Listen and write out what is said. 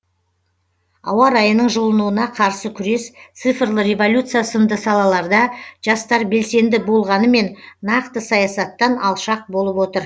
ауа райының жылынуына қарсы күрес цифрлы революция сынды салаларда жастар белсенді болғанымен нақты саясаттан алшақ болып отыр